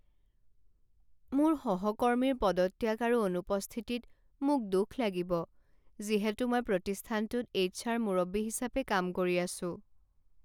মোৰ সহকৰ্মীৰ পদত্যাগ আৰু অনুপস্থিতিত মোক দুখ লাগিব যিহেতু মই প্ৰতিষ্ঠানটোত এইচআৰ মুৰব্বী হিচাপে কাম কৰি আছো।